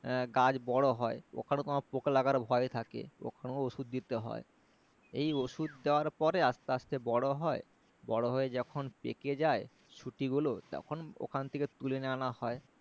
গাছ বড়ো হয় ওখানেও তোমার পোকা লাগার ভয় থাকে ওখানেও ওষুধ দিতে হয় এই ওষুধ দেওয়ার পরে আসতে আসতে বড়ো হয় বড়ো হয়ে যখন পেকে যায় সুটিগুলো তখন ওখান থেকে তুলে নিয়ে আনা হয়